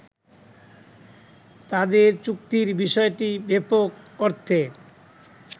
তাদের চুক্তির বিষয়টি ব্যাপক অর্থে